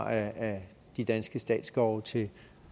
ha af de danske statsskove til